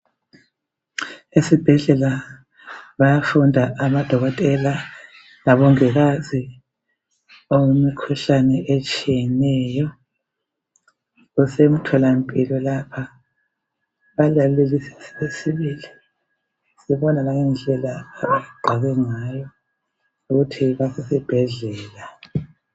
Esibhedlela bayafunda amadokotela labongikazi imikhuhlane etshiyeneyo. Kuse mtholampilo lapha balalelisile sibona langendlela abagqoke ngayo ukuthi basesibhedlela.